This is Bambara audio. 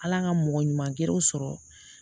Ala ka mɔgɔ ɲuman gɛrɛ u sɔrɔ